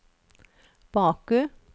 Baku